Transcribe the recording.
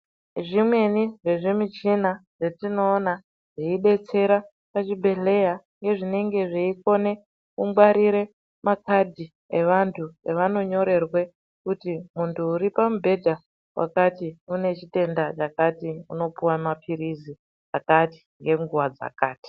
Zvimweni zvezvimichina zvetinoona zveibetsera pachibhedhleya ,nezvinenge zveikone kungwarire makhadhi evantu, evanonyorerwe kuti muntu uri pamubhedha wakati, une chitenda chakati, unopuwa maphirizi akati, ngenguwa dzakati.